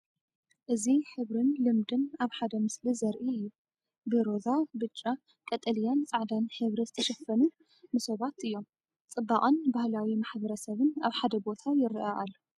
እዚ ሕብርን ልምድን ኣብ ሓደ ምስሊ ዘርኢ እዩ። ብሮዛ፣ ብጫ፣ ቀጠልያን ጻዕዳን ሕብሪ ዝተሸፈኑ መሶባት እዮም። ጽባቐን ባህላዊ ማሕበረሰብን ኣብ ሓደ ቦታ ይረአ ኣሎ።